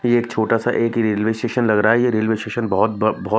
ये एक छोटा सा एक ही रेलवे स्टेशन लग रहा है ये रेलवे स्टेशन बहोत ब बहोत --